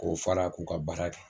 K'o fara k'u ka baara kɛ